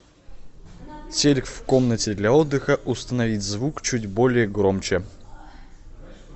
телик в комнате для отдыха установить звук чуть более громче